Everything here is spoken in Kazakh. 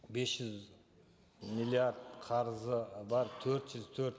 бес жүз миллиард қарызы бар төрт жүз төрт